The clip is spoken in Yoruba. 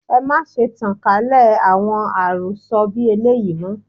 Ẹ má ṣe tan kálẹ̀ àwọn àròsọ bí eléyìí, mọ́.